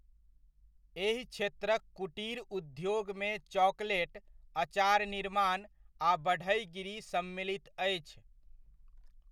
एहि क्षेत्रक कुटिर उद्योगमे चॉकलेट, अचार निर्माण, आ बढ़इगिरी सम्मिलित अछि।